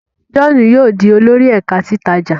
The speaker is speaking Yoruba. John yóò dì olórí ẹka titaja.